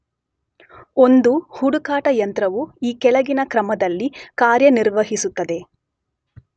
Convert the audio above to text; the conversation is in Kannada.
ಒಂದು ಹುಡುಕಾಟ ಯಂತ್ರವು ಈ ಕೆಳಗಿನ ಕ್ರಮದಲ್ಲಿ ಕಾರ್ಯನಿರ್ವಹಿಸುತ್ತದೆ.